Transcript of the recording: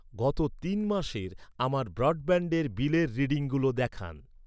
গত তিন মাসের আমার ব্রডব্যান্ডের বিলের রিডিংগুলো দেখান৷